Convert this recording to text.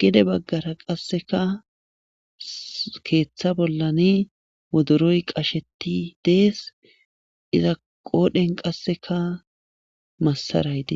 gede baggara qasseka keeththa bollan woduroy qasheti dees iza qoodhen qasseka massarayde